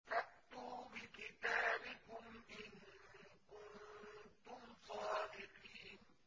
فَأْتُوا بِكِتَابِكُمْ إِن كُنتُمْ صَادِقِينَ